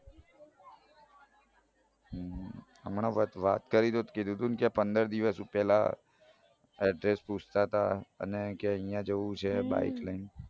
હમ હમણાં વાત કરી તો જ કીધું તું ને કે પંદર દિવસ પેલા address પૂછતાં તા અને કે આઇયા જાઉં છે bike લઈન